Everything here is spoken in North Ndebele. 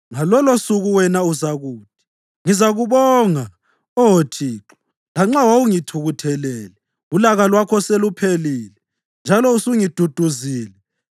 Ngalolosuku wena uzakuthi: “Ngizakubonga Oh Thixo. Lanxa wawungithukuthelele ulaka lwakho seluphelile, njalo usungiduduzile.